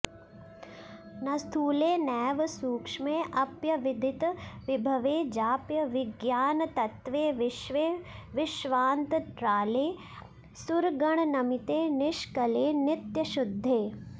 न स्थूले नैव सूक्ष्मेऽप्यविदितविभवे जाप्यविज्ञानतत्त्वे विश्वे विश्वान्तराळे सुरगणनमिते निष्कळे नित्यशुद्धे